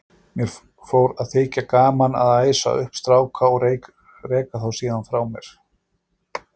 Mér fór að þykja gaman að æsa upp stráka og reka þá síðan frá mér.